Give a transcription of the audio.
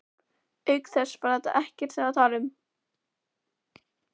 Auk þess, þetta var ekkert til að tala um.